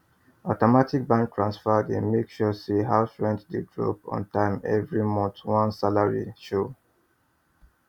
automatic bank transfer dey make sure say house rent dey drop ontime every month once salary show